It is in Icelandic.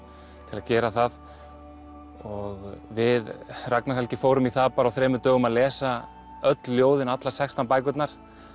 til að gera það við Ragnar Helgi fórum í það bara á þremur dögum að lesa öll ljóðin allar sextán bækurnar